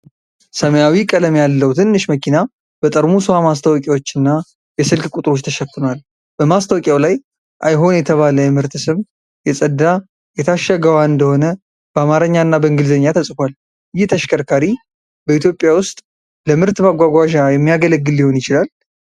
ሰማያዊ ቀለም ያለው ትንሽ መኪና በጠርሙስ ውሃ ማስታወቂያዎች እና የስልክ ቁጥሮች ተሸፍኗል። በማስታወቂያው ላይ "አይሆን" የተባለ የምርት ስም የጸዳ የታሸገ ውሃ እንደሆነ በአማርኛ እና በእንግሊዝኛ ተጽፏል። ይህ ተሽከርካሪ በኢትዮጵያ ውስጥ ለምርት ማጓጓዣ የሚያገለግል ሊሆን ይችላል?